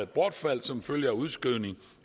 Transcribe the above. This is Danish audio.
bortfaldt som følge af udskrivningen